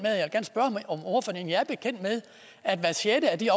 med at hver sjette af de